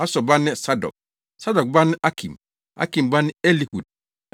Asor ba ne Sadok, Sadok ba ne Akim, Akim ba ne Elihud.